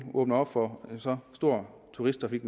åbner op for så stor turisttrafik